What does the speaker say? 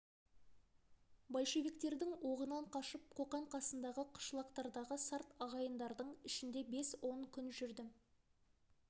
большевиктердің оғынан қашып қоқан қасындағы қышлақтардағы сарт ағайындардың ішінде бес-он күн жүрдім